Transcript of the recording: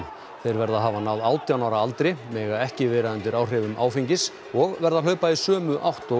þeir verða að hafa náð átján ára aldri mega ekki vera undir áhrifum áfengis og verða að hlaupa í sömu átt og